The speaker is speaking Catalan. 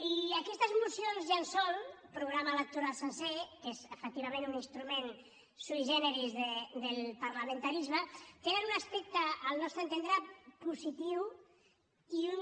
i aquestes mocions llençol programa electoral sencer que és efectivament un instrument sui generis del parlamentarisme tenen un aspecte al nostre entendre positiu i un